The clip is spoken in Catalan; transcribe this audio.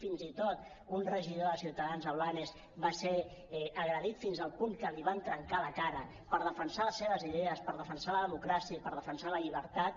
fins i tot un regidor de ciutadans a blanes va ser agredit fins al punt que li van trencar la cara per defensar les seves idees per defensar la democràcia i per defensar la llibertat